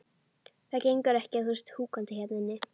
Það gengur ekki að þú sért húkandi hérna inni.